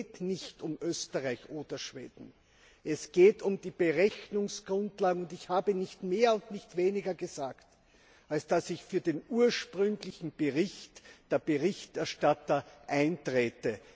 Es geht nicht um Österreich oder Schweden, es geht um die Berechnungsgrundlagen. Und ich habe nicht mehr und nicht weniger gesagt, als dass ich für den ursprünglichen Bericht der Berichterstatter eintrete.